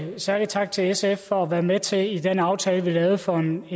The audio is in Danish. en særlig tak til sf for at være med til i den aftale vi lavede for en